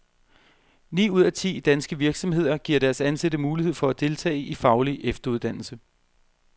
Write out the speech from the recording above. Ni ud af ti danske virksomheder giver deres ansatte mulighed for at deltage i faglig efteruddannelsae.